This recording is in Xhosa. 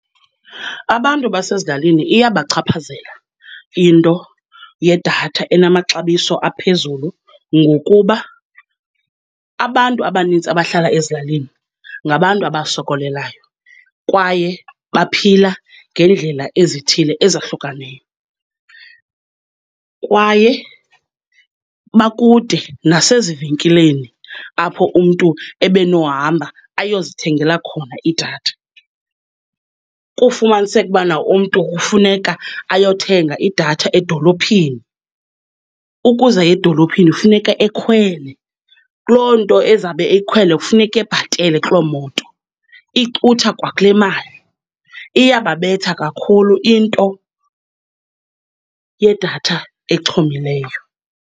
Abantu basezilalini iyabachaphazela into yedatha enamaxabiso aphezulu ngokuba abantu abanintsi abahlala ezilalini ngabantu abazisokolelayo, kwaye baphila ngeendlela ezithile ezahlukaneyo, kwaye bakude nasezivenkileni apho umntu ebenohamba ayozithengela khona idatha. Kufumaniseke ukubana umntu kufuneka ayothenga idatha edolophini, ukuze aye edolophini kufuneka ekhwele, kuloo nto ezawube eyikhwele kufuneka ebhatele kuloo moto, icutha kwakule mali. Iyababetha kakhulu into yedatha exhomileyo.